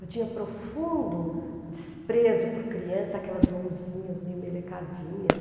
Eu tinha profundo desprezo por criança, aquelas mãozinhas meio melecadinhas.